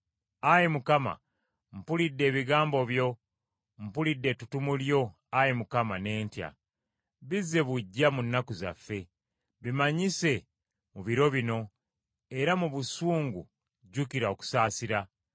Ayi Mukama , mpulidde ebigambo byo; mpulidde ettutumu lyo Ayi Mukama , ne ntya. Bizze buggya mu nnaku zaffe, bimanyise mu biro bino, era mu busungu jjukira okusaasira.